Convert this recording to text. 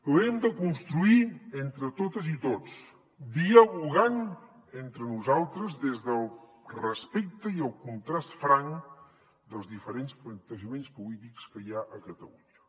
l’hem de construir entre totes i tots dialogant entre nosaltres des del respecte i el contrast franc dels diferents plantejaments polítics que hi ha a catalunya